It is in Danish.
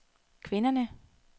kvinderne